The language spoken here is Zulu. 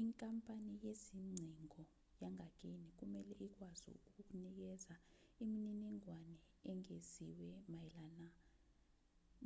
inkampani yezingcingo yangakini kumelwe ikwazi ukukunikeza imininingwane engeziwe mayelana